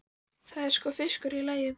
Það er sko fiskur í lagi.